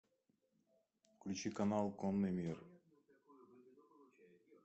включи канал конный мир